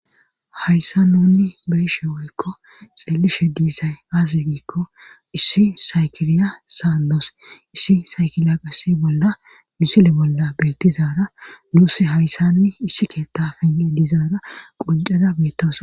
hayssa nuni beyishe woykko xeelishe diisay aasi giikko issi saykiriya saadoos issi saykilaqasi bolla misile bolla bettizaara nuuss hayssani issi keetta fengen diizaara qoncada beettawus